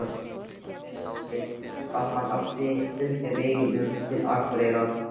Hann vissi að hann átti að fylgja veginum til Akureyrar.